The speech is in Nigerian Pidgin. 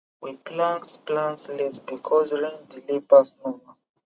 we plant plant late because rain delay pass normal